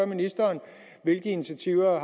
ministeren hvilke initiativer er